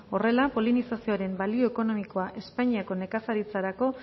horrela polinizazioaren balio ekonomikoa espainiako nekazaritzarako